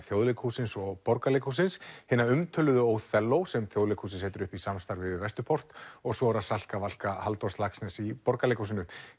Þjóðleikhússins og Borgarleikhússins hina umtöluðu Óþelló sem Þjóðleikhúsið setur upp í samstarfi við Vesturport og svo er það Salka Valka Halldórs Laxness í Borgarleikhúsinu